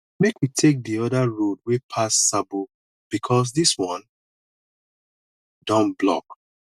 make we take di oda road wey pass sabo bikos dis one don block